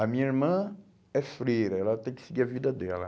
A minha irmã é freira, ela tem que seguir a vida dela.